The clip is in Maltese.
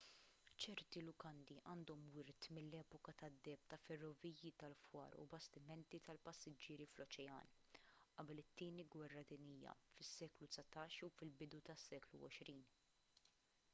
ċerti lukandi għandhom wirt mill-epoka tad-deheb ta' ferroviji tal-fwar u bastimenti tal-passiġġieri fl-oċean qabel it-tieni gwerra dinjija fis-seklu 19 jew fil-bidu tas-seklu 20